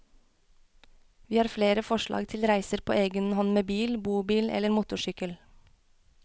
Vi har flere forslag til reiser på egen hånd med bil, bobil eller motorsykkel.